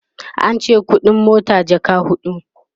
ance ƙuɗin mota jaka huɗu